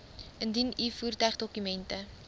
indien u voertuigdokumente